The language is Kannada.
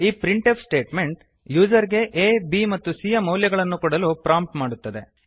ಈ ಪ್ರಿಂಟ್ ಎಫ್ ಸ್ಟೇಟ್ಮೆಂಟ್ ಯೂಸರ್ ಗೆ ಆ b ಮತ್ತು c ಯ ಮೌಲ್ಯಗಳನ್ನು ಕೊಡಲು ಪ್ರಾಂಪ್ಟ್ ಮಾಡುತ್ತದೆ